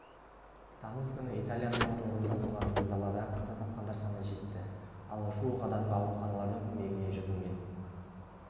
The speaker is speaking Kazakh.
тамыз күні италияның орталығында болған зілзалада қаза тапқандар саны жетті ал жуық адамға ауруханалардың көмегіне жүгінген